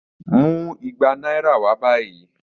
Mu igba naira wa bayi.